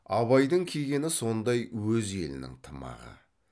абайдың кигені сондай өз елінің тымағы